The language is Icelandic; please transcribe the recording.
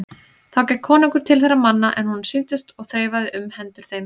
Þá gekk konungur til þeirra manna er honum sýndist og þreifaði um hendur þeim.